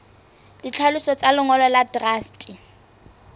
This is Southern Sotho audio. ditlhaloso tsa lengolo la truste